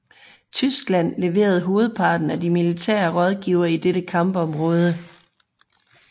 Tyskland leverede hovedparten af de militære rådgivere i dette kampområde